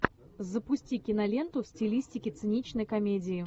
запусти киноленту в стилистике циничной комедии